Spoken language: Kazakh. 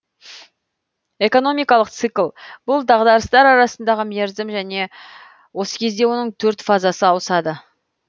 экономикалық цикл бұл дағдарыстар арасындағы мерзім және осы кезде оның төрт фазасы ауысады